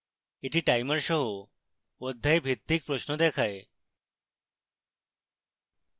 এটি timer সহ অধ্যায়ভিত্তিক প্রশ্ন দেখায়